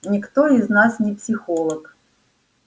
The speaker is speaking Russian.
никто из нас не психолог